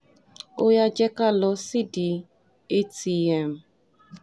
ó yá jẹ́ ká lọ sídìí atm